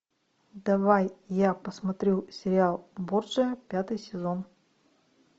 давай я посмотрю сериал борджиа пятый сезон